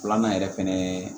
Filanan yɛrɛ fɛnɛ ye